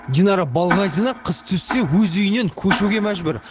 динара балғазина қыс түссе өз үйінен көшуге мәжбүр